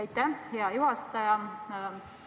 Aitäh, hea juhataja!